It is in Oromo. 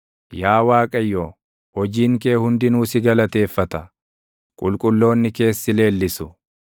Yaa Waaqayyo, hojiin kee hundinuu si galateeffata; qulqulloonni kees si leellisu.